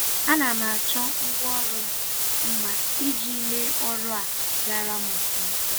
A na m achọ ngwa ọrụ m mma iji mee ọrụ a gara m ofuma